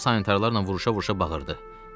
O, sanitarlarla vuruşa-vuruşa bağırdı.